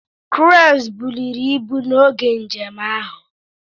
Cranes buliri ibu n'oge njem ahụ.